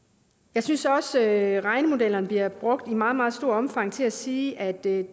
jeg synes også at regnemodellerne bliver brugt i meget meget stort omfang til at sige at det